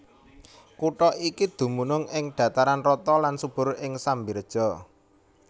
Kutha iki dumunung ing dhataran rata lan subur ing Semberija